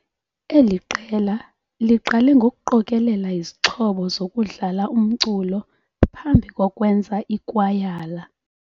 Eli qela liqale ngokuqokelea izixhobo zokudlala umculo phambi kokwenza ikwayala.